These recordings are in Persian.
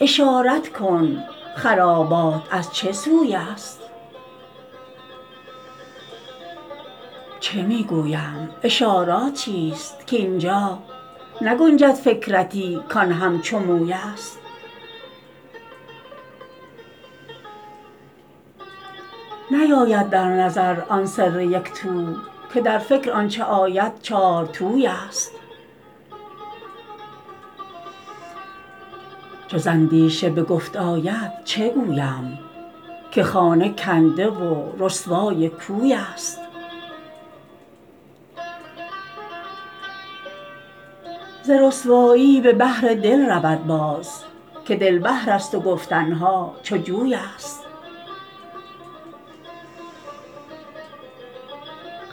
اشارت کن خرابات از چه سوی ست چه می گویم اشارت چیست کاین جا نگنجد فکرتی کان همچو مویست نیاید در نظر آن سر یک تو که در فکر آنچ آید چارتویست چو ز اندیشه به گفت آید چه گویم که خانه کنده و رسوای کویست ز رسوایی به بحر دل رود باز که دل بحرست و گفتن ها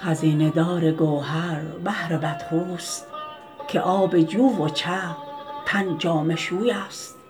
چو جویست خزینه دار گوهر بحر بدخوست که آب جو و چه تن جامه شویست